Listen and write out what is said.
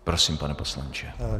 Prosím, pane poslanče.